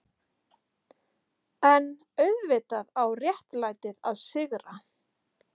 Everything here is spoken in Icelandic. EN auðvitað á réttlætið að sigra.